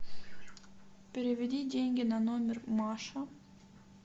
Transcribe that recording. переведи деньги на номер маша